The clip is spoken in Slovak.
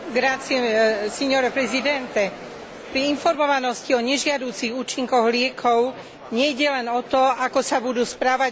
Pri informovanosti o nežiaducich účinkoch liekov nejde len o to, ako sa budú správať výrobcovia liekov.